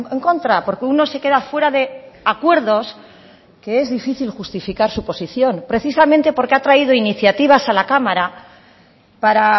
en contra porque uno se queda fuera de acuerdos que es difícil justificar su posición precisamente porque ha traído iniciativas a la cámara para